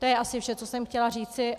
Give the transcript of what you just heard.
To je asi vše, co jsem chtěla říci.